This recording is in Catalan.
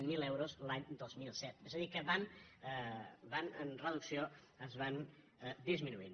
zero euros l’any dos mil set és a dir que van en reducció es van disminuint